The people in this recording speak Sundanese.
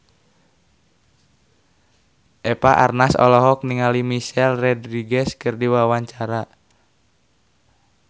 Eva Arnaz olohok ningali Michelle Rodriguez keur diwawancara